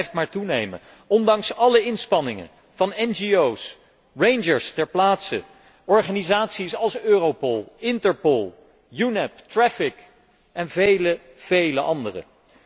Het blijft maar toenemen, ondanks alle inspanningen van ngo's, rangers ter plaatse, organisaties als Europol, Interpol, UNEP, TRAFFIC en vele, vele andere.